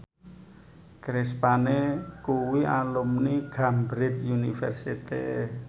Chris Pane kuwi alumni Cambridge University